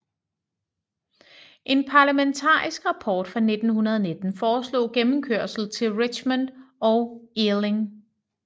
En parlamentarisk rapport fra 1919 foreslog gennemkørsel til Richmond og Ealing